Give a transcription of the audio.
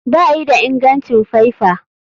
Bayi da ingancin faifa.